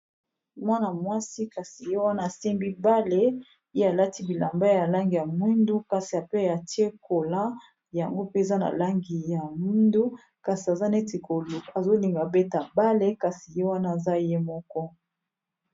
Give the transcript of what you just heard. Mwana-mwasi kasi ye wana asimbi bale ye alati bilamba ya langi ya mwindu kasi ape ya tie kola yango mpe eza na langi ya mwindu kasi aza neti azolinga beta bale kasi ye wana aza ye moko.